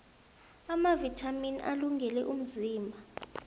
amavithamini alungele umzimba